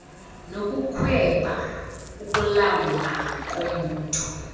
nokukhweba ukulamla kombutho